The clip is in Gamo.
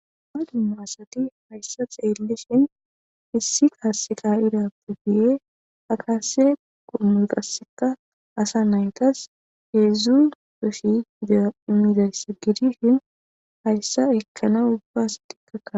Dumma dumma asathi hayssa xeellishen issi qassi kaa7eerappe guye qassse qassikka asa na7ithas heezzu sha7aa immizayssi hayssa ekkanawu ubba asathikka.